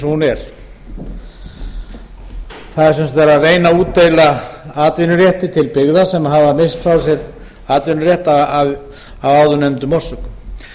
það er sem sagt verið að reyna að útdeila atvinnurétti til byggða sem hafa misst frá sér atvinnurétt af áðurnefndum orsökum